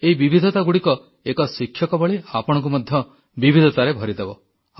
ଏଇ ବିବିଧତାଗୁଡ଼ିକ ଏକ ଶିକ୍ଷକ ଭଳି ଆପଣଙ୍କୁ ମଧ୍ୟ ବିବିଧତାରେ ଭରିଦେବ